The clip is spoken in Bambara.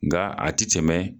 Nga a ti tɛmɛ.